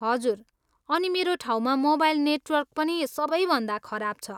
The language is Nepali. हजुर, अनि मेरो ठाउँमा मोबाइल नेटवर्क पनि सबैभन्दा खराब छ।